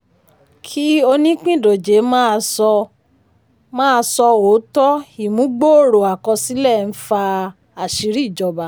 kí onípìndòjé máa sọ máa sọ òótọ́ ìmúgbòòrò àkọsílẹ̀ ń fa ìṣìírí ìjọba.